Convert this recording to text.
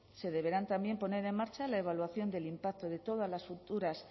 se deberán también poner en marcha la evaluación del impacto de todas las futuras